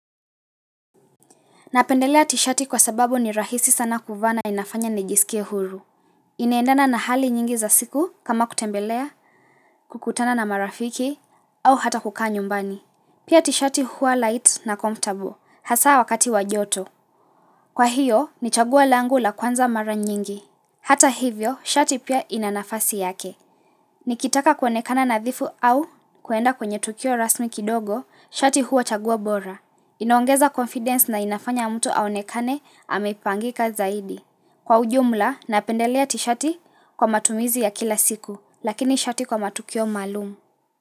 Napendelea t-shati kwa sababu ni rahisi sana kuvaa na inafanya nijisikie huru. Inaendana na hali nyingi za siku kama kutembelea, kukutana na marafiki, au hata kukaa nyumbani. Pia t-shati huwa light na comfortable, hasa wakati wa joto. Kwa hiyo, ni chaguo langu la kwanza mara nyingi. Hata hivyo, shati pia inanafasi yake. Nikitaka kuonekana nadhifu au kuenda kwenye tukio rasmi kidogo, shati huwa na chagua bora. Inoongeza confidence na inafanya mtu aonekane amepangika zaidi. Kwa ujumla, napendelea t-shati kwa matumizi ya kila siku, lakini shati kwa matukio maalumu.